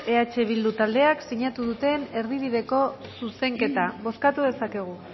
eh bildu taldeak sinatu duten erdibideko zuzenketa bozkatu dezakegu